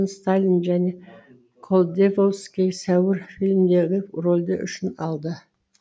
сталин және колдековский сәуір фильмдерін рөлдері үшін алды